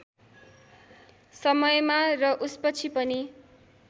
समयमा र उसपछि पनि